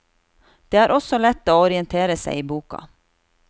Det er også lett å orientere seg i boka.